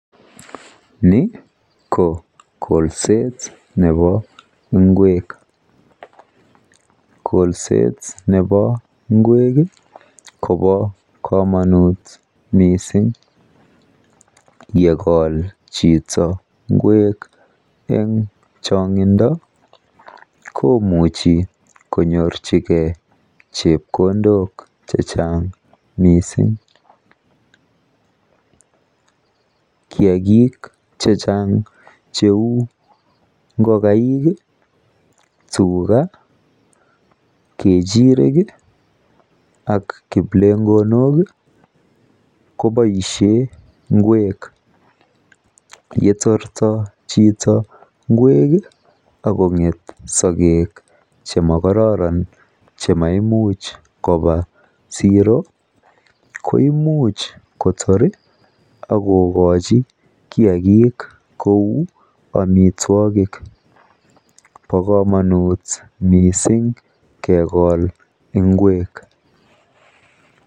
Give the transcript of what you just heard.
ni ko kolseet nebo ngweek, kolseet nebo ngweek iih kobo komonuut mising yegool chito ngweek en chingindo komuche konyorchigee chepkondook chechang mising, kiagiik chechang cheuu ngogaik iih tuga, kechirek iih ak kiplegonook iih koboishen ngweek yetortoo cheto ngweek iih ak konget sogeek chemogororon chemaimuch koba zero, koimuch kotoor iih ak kogochi kiagiik koek omitwogik, bo komonuut mising kegool ngweek.